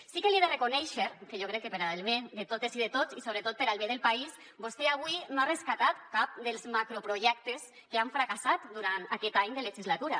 sí que li he de reconèixer que jo crec que per al bé de totes i de tots i sobretot per al bé del país vostè avui no ha rescatat cap dels macroprojectes que han fracassat durant aquest any de legislatura